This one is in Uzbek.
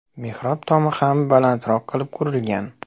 Mehrob tomi ham balandroq qilib qurilgan.